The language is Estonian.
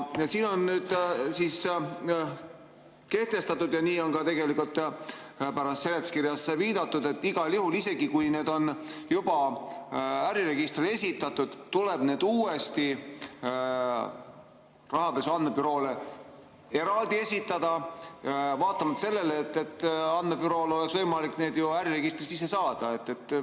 Siin on nii kehtestatud ja nii on ka pärast seletuskirjas viidatud, et igal juhul, isegi kui need on juba äriregistrile esitatud, tuleb need eraldi uuesti Rahapesu Andmebüroole esitada, vaatamata sellele, et andmebürool oleks võimalik neid ju äriregistrist endal saada.